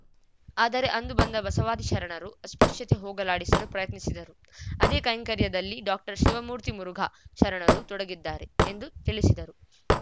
ಆದರೆ ಅಂದು ಬಂದ ಬಸವಾದಿ ಶರಣರು ಅಸ್ಪೃಶ್ಯತೆ ಹೋಗಲಾಡಿಸಲು ಪ್ರಯತ್ನಿಸಿದರು ಅದೇ ಕೈಂಕರ‍್ಯದಲ್ಲಿ ಡಾಶಿವಮೂರ್ತಿ ಮುರುಘಾ ಶರಣರು ತೊಡಗಿದ್ದಾರೆ ಎಂದು ತಿಳಿಸಿದರು